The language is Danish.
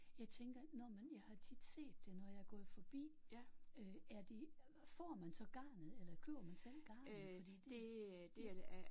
Jeg tænker når man jeg har tit set det når jeg er gået forbi. Øh er det får man så garnet eller køber man selv garnet fordi det